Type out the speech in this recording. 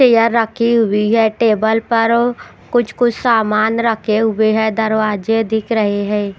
यहां रखी हुई है टेबल पर ओ कुछ कुछ सामान रखे हुए हैं दरवाजे दिख रहे हैं।